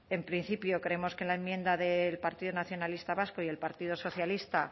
en principio creemos que la enmienda del partido nacionalista vasco y el partido socialista